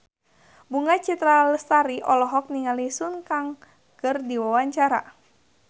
Bunga Citra Lestari olohok ningali Sun Kang keur diwawancara